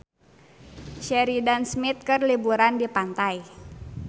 Sheridan Smith keur liburan di pantai